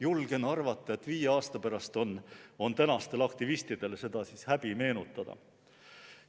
Julgen arvata, et viie aasta pärast on tänastel aktivistidel seda häbi meenutada.